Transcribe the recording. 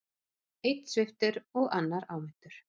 Einn sviptur og annar áminntur